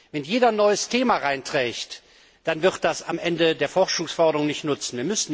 Wenn jeder ein neues Thema einbringt, dann wird das am Ende der Forschungsförderung nicht nützen.